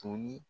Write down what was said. To ni